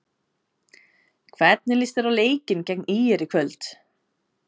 Hvernig líst þér á leikinn gegn ÍR í kvöld?